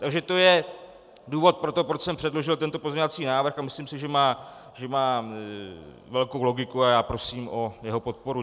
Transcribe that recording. Takže to je důvod pro to, proč jsem předložil tento pozměňovací návrh, a myslím si, že má velkou logiku a já prosím o jeho podporu.